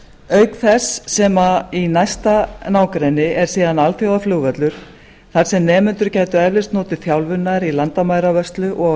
auk þess sem í næsta nágrenni er síðan alþjóðaflugvöllur þar sem nemendur gætu eflaust notið þjálfunar í landamæravörslu og á